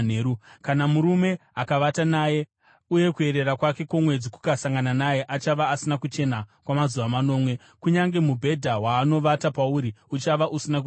“ ‘Kana murume akavata naye uye kuerera kwake kwomwedzi kukasangana naye, achava asina kuchena kwamazuva manomwe, kunyange mubhedha waanovata pauri uchava usina kuchena.